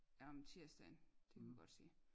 Er om tirsdagen det kan vi godt sige